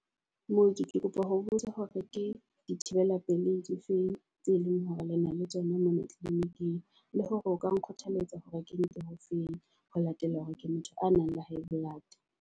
Mooki ke kopa ho botsa hore ke dithibela pelehi di feng tse leng hore lena le tsona mona clinic-ing. Le hore o ka nkgothaletsa hore ke nke o feng. Ho latela hore ke motho a nang le high blood.